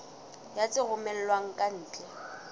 ya tse romellwang ka ntle